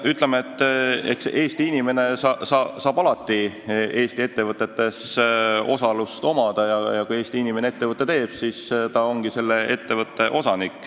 No ütleme, et Eesti inimene saab alati Eesti ettevõtetes osalust omada ja kui Eesti inimene ettevõtte teeb, siis ta ongi selle ettevõtte osanik.